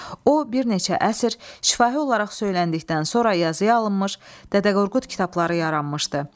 O bir neçə əsr şifahi olaraq söyləndikdən sonra yazılı hala alınmış, Dədə Qorqud kitabları yaranmışdı.